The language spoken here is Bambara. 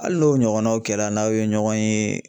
Ali n'o ɲɔgɔnnaw kɛra n'aw ye ɲɔgɔn ye